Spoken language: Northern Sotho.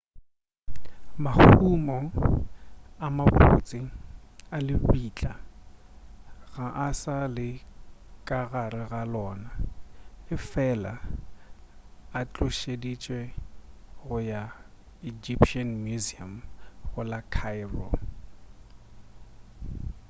mahumo a mabotse a lebitla ga a sa le ka gare ga lona efela a tlošeditšwe go ya egyptian museum go la cairo